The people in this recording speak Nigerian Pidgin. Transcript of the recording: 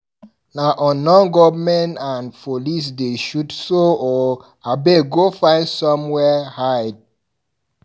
Na unknown gun-men and police dey shoot so o, abeg go find somewhere hide.